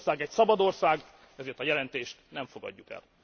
Magyarország egy szabad ország, ezért a jelentést nem fogadjuk el.